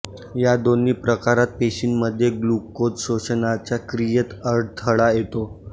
या दोन्ही प्रकारात पेशींमध्ये ग्लूकोज शोषण्याच्या क्रियेत अडथळा येतो